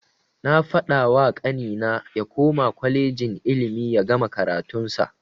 Na fadawa kanina ya koma kwalejin ilimi yagama karatun sa.